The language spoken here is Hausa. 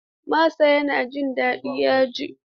Masa yana jin daɗin yaji.